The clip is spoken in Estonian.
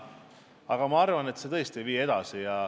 –, aga ma arvan, et see tõesti ei vii edasi.